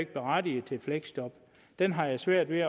berettiget til fleksjob den har jeg svært ved